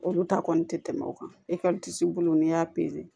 Olu ta kɔni te tɛmɛ o kan bolo n'i y'a